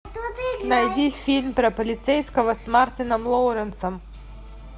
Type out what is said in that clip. найди фильм про полицейского с мартином лоуренсом